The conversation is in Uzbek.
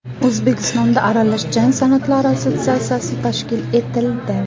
O‘zbekistonda Aralash jang san’atlari assotsiatsiyasi tashkil etildi.